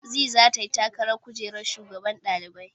Zee zata yi takarar kujerar shugaban ɗalibai.